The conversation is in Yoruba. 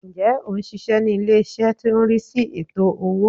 Ǹjẹ́ ò n síse ní ilé-ìṣẹ́ tó n rí sí ètò owó